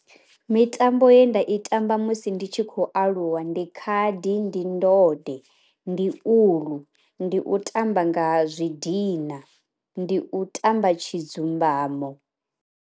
Mitambo ye nda i tamba musi ndi tshi khou aluwa ndi khadi, ndi ndode ndi uḽu, ndi u tamba nga zwi dina, ndi u tamba tshi dzumbamo.